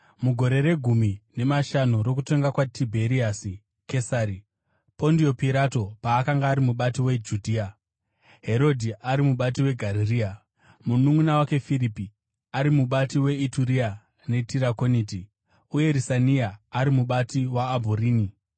Mugore regumi nemashanu rokutonga kwaTibheriasi Kesari, Pondio Pirato paakanga ari mubati weJudhea, Herodhi ari mubati weGarirea, mununʼuna wake Firipi ari mubati weIturea neTirakoniti, uye Risania ari mubati weAbhurini,